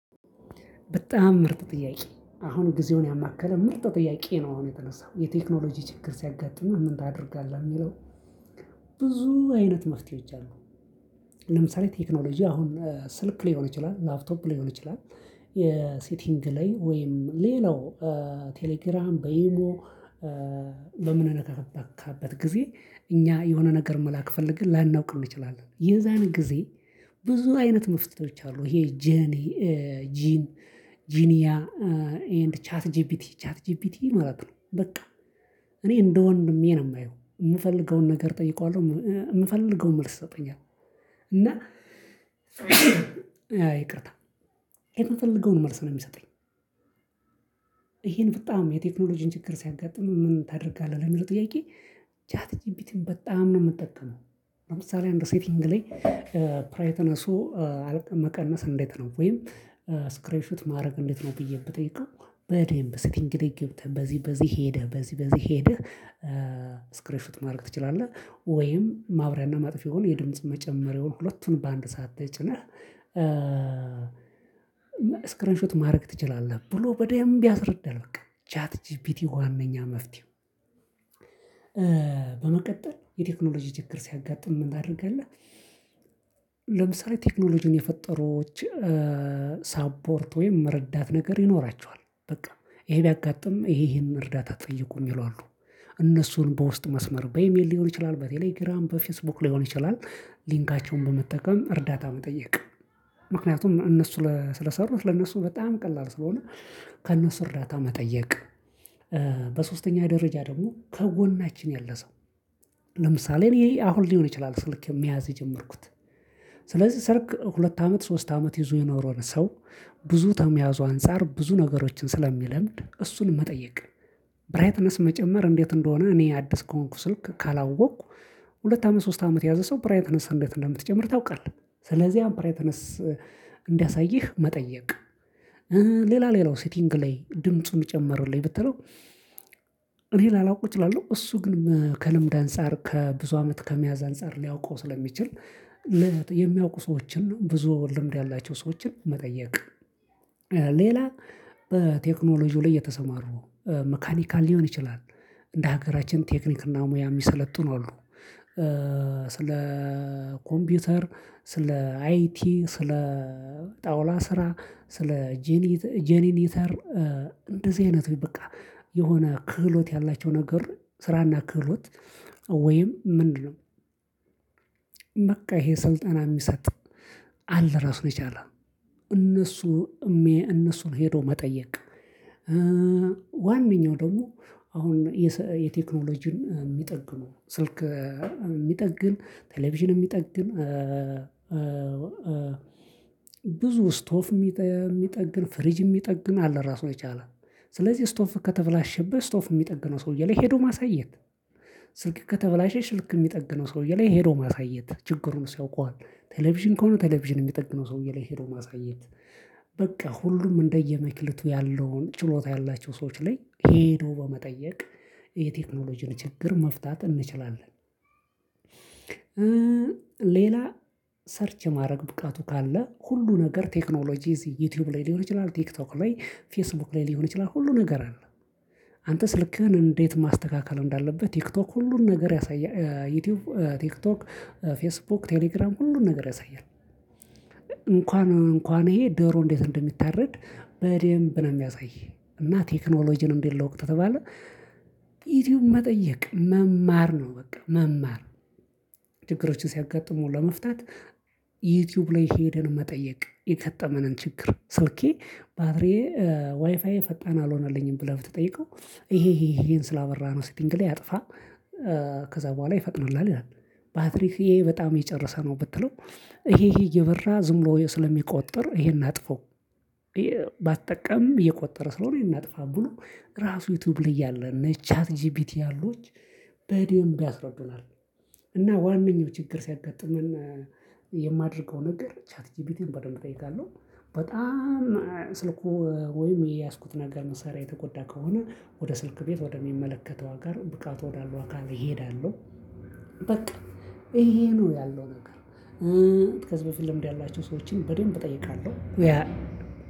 በጣም ምርጥ ጥያቄ አሁን ጊዜውን ያማከለ ምርጥ ጥያቄ ነው። አሁን የተነሳው የቴክኖሎጂ ችግር ሲያጋጥምህ ምን ታደርጋለህ? የሚለው ብዙ አይነት መፍትሄዎች አሉ። ለምሳሌ ቴክኖሎጂ አሁን ስልክ ሊሆን ይችላል ላፕቶፕ ሊሆን ይችላል። የሴቲንግ ላይ ወይም ሌላው ቴሌግራም በኢሞ። ለምንነካበት ከበቃበት ጊዜ እኛ የሆነ ነገር መላክ ፈልግን ላናውቅ እንችላለን የዛን ጊዜ። ብዙ አይነት መፍትሄዎች አሉ ይሄ ጄኒ ጂን ጂኒያ ኤንድ ቻት ጂፒቲ ቻት ጂፒቲ ማለት ነው። በቃ እኔ እንደ ወንድሜ ነው የማየው የምፈልገውን ነገር እጠይቀዋለሁ የምፈልገውን መልስ ይሰጠኛል። እና ይቅርታ እኔ የምፈልገውን መልስ ነው የሚሰጠኝ። ይሄን በጣም የቴክኖሎጂን ችግር ሲያጋጥምህ ምን ታደርጋለህ ለሚለው ጥያቄ? ቻት ጂፒቲን በጣም ነው የምትጠቀመው። ለምሳሌ አንድ ሴቲንግ ላይ ብራይትነሱ መቀነስ እንዴት ነው? ወይም ስክሪንሹት ማድረግ እንዴት ነው? ብዬ ብጠይቀው በደንብ ሴቲንግ ገብተህ በዚህ በዚህ ሄደህ በዚህ በዚህ ሄደህ። ስክሪንሹት ማድረግ ትችላለህ ወይም ማብሪያና ማጥፊያውን የድምጽ መጨመሪያውን ሁለቱን በአንድ ሰዓት ተጭነህ ስክሪንሹት ማድረግ ትችላለህ ብሎ በደንብ ያስረዳል። በቃ ቻት ጂፒቲ ዋነኛ መፍትሄው። በመቀጠል የቴክኖሎጂ ችግር ሲያጋጥም ምን ታደርጋለህ? ለምሳሌ ቴክኖሎጂን የፈጠሩ ሳፖርት ወይም መረዳት ነገር ይኖራቸዋል። በቃ ይሄ ቢያጋጥም ይሄ ይሄንን እርዳታ ጠይቁ የሚሉ አሉ። እነሱን በውስጥ መስመር በኢሜል ሊሆን ይችላል በቴሌግራም በፌስቡክ ሊሆን ይችላል ሊንካቸውን በመጠቀም እርዳታ መጠየቅ። ምክንያቱም እነሱ ስለሰሩት ለነሱ በጣም ቀላል ስለሆነ። ከእነሱ እርዳታ መጠየቅ። በሶስተኛ ደረጃ ደግሞ ከጎናችን ያለ ሰው። ለምሳሌ እኔ አሁን ሊሆን ይችላል ስልክ መያዝ የጀመርኩት። ስለዚህ ሰርክ ሁለት አመት ሶስት አመት ይዞ የኖረውን ሰው ብዙ ተመያዙ አንፃር ብዙ ነገሮችን ስለሚለምድ እሱን መጠየቅ። ብራይትነስ መጨመር እንዴት እንደሆነ እኔ አዲስ ከሆንኩ ስልክ ካላወቅኩ። ሁለት አመት ሶስት አመት የያዘ ሰው ብራይትነስ እንዴት እንደምትጨምር ታውቃለህ? ስለዚህ አሁን ብራይንትነስ እንዲያሳይህ መጠየቅ። ሌላ ሌላው ሴቲንግ ላይ ድምጹን ጨምርልኝ ብትለው። እኔ ላላውቅ እችላለሁ እሱ ግን ከልምድ አንፃር ከብዙ አመት ከመያዝ አንፃር ሊያውቀው ስለሚችል። የሚያውቁ ሰዎችን ብዙ ልምድ ያላቸው ሰዎችን መጠየቅ። ሌላ በቴክኖሎጂው ላይ የተሰማሩ መካኒካል ሊሆን ይችላል። እንደ ሀገራችን ቴክኒክና ሙያ የሚሰለጥኑ አሉ። ስለ ኮምፒውተር ስለ አይቲ ስለ ጣውላ ስራ ስለ ጄኒ ጄኒኔተር እንደዚህ አይነት በቃ የሆነ ክህሎት ያላቸው ነገር ስራና ክህሎት ወይም ምንድነው? ይሄ ስልጠና የሚሰጥ አለ ራሱን የቻለ እነሱ እነሱን ሄዶ መጠየቅ። ዋነኛው ደግሞ አሁን የቴክኖሎጂን የሚጠግኑ ስልክ የሚጠግን ቴሌቪዥን የሚጠግን። ብዙ ስቶፍ የሚጠግን ፍሪጅ የሚጠግን አለ ራሱን የቻለ። ስለዚህ ስቶፍ ከተበላሸበት ስቶፍ የሚጠግነው ሰውዬ ላይ ሄዶ ማሳየት። ስልክ ከተበላሸች ስልክ የሚጠግነው ሰውዬ ላይ ሄዶ ማሳየት ችግሩን እሱ ያውቀዋል። ቴሌቪዥን ከሆነ ቴሌቪዥን የሚጠግነው ሰውዬ ላይ ሄዶ ማሳየት። በቃ ሁሉም እንደየመክሊቱ ያለውን ችሎታ ያላቸው ሰዎች ላይ ሄዶ በመጠየቅ የቴክኖሎጂን ችግር መፍታት እንችላለን። ሌላ ሰርች ማድረግ ብቃቱ ካለ ሁሉ ነገር ቴክኖሎጂ እዚህ ዩቲዩብ ላይ ሊሆን ይችላል ቲክቶክ ላይ ፌስቡክ ላይ ሊሆን ይችላል ሁሉ ነገር አለ። አንተ ስልክህን እንዴት ማስተካከል እንዳለብህ ቲክቶክ ሁሉን ነገር ያሳየ ዩቲዩብ ቲክቶክ ፌስቡክ ቴሌግራም ሁሉን ነገር ያሳያል። እንኳን እንኳን ይሄ ዶሮ እንዴት እንደሚታረድ በደንብ ነው የሚያሳይ። እና ቴክኖሎጂን እንዴት ልወቅ ከተባለ። ዩቲዩብ መጠየቅ መማር ነው በቃ መማር። ችግሮችን ሲያጋጥሙ ለመፍታት። ዩቲዩብ ላይ ሄደን መጠየቅ የገጠመንን ችግር ስልኬ ባትሪዬ ዋይፋዬ ፈጣን አልሆነልኝም ብለህ ብትጠይቀው። ይሄ ይሄን ስላበራህ ነው ሲቲንግ ላይ አጥፋ ከዛ በኋላ ይፈቅድልሃል ይላል። ባትሪህ ይሄ በጣም እየጨረሰ ነው ብትለው። ይሄ ይሄ እየበራ ዝም ብሎ ስለሚቆጥር ይሄን አጥፋው። ባትጠቀምም እየቆጠረ ስለሆነ ይህንን አጥፋ ብሎ ራሱ ዩቲዩብ ላይ ያለ እነ ቻት ጂፒቲ ያሉ በደንብ ያስረዱናል። እና ዋናኛው ችግር ሲያጋጥመን የማደርገው ነገር ቻት ጂፒቲን በደንብ እጠይቃለሁ። በጣም ስልኩ ወይም የያዝኩት ነገር መሳሪያ የተጎዳ ከሆነ ወደ ስልክ ቤት ወደሚመለከተው አካል ብቃት ወዳለው አካል እሄዳለሁ። በቃ ይሄ ነው ያለው ነገር። ከዚህ በፊት ልምድ ያላቸው ሰዎችን በደንብ እጠይቃለሁ።